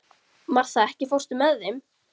Martha, ekki fórstu með þeim?